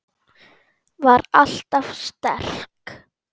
Var alltaf sterk.